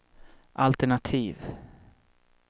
altenativ